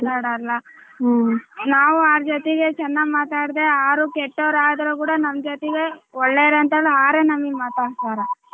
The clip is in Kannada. ನಾವು ಅವರ ಜೊತೆಗೆ ಚೆನ್ನಾಗ ಮಾತಾಡುದರೆ ಅವರು ಕೆಟ್ಟವರಾದ್ರೂ ಕೂಡ ನಮ್ ಜೊತೆಗೆ ಒಳ್ಳೆವರ ಅಂತ ಅವರೇ ನಮ್ ಮಾತಾಡಸ್ತಾರೇ.